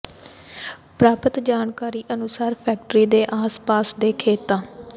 ਪ੍ਰਾਪਤ ਜਾਣਕਾਰੀ ਅਨੁਸਾਰ ਫੈਕਟਰੀ ਦੇ ਆਸ ਪਾਸ ਦੇ ਖੇਤਾਂ